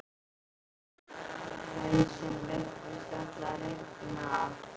Hausinn virtist ætla að rifna af.